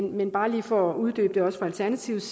men bare lige for at uddybe det også fra alternativets